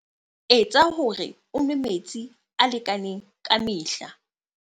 Etsa hore o nwe metsi a lekaneng ka mehla.